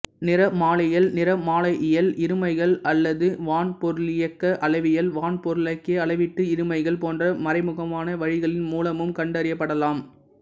நிறமாலையியல் நிறமாலையியல் இருமைகள் அல்லது வான்பொருளியக்க அளவியல் வான்பொருளியக்க அளவீட்டு இருமைகள் போன்ற மறைமுகமான வழிகளின் மூலமும் கண்டறியப்படலாம்